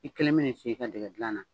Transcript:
I keln min na i sigi i ka dɛgɛ dilan na.